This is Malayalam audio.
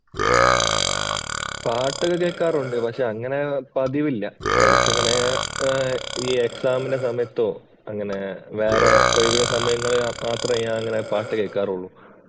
പാട്ടൊക്കെ കേൾക്കാറുണ്ട്. പക്ഷേ അങ്ങനെ പതിവില്ല. എടയ്ക്ക് എങ്ങനെ ഈ എക്സാമിന്‍റെ സമയത്തോ അങ്ങനെ വേറെ ഒഴിവുസമയങ്ങളിൽ മാത്രം ഞാന്‍ അങ്ങനെ പാട്ടു കേൾക്കാറുള്ളൂ.